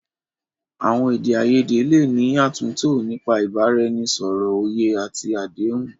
Àwọn èdè àìyedè lè ní àtúntò nípa ìbánisọ̀rọ̀, òye àti àdéhùn.